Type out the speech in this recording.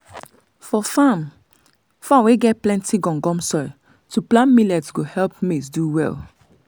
for farm farm wey get plenty gum gum soil to plant millet go help maize do well.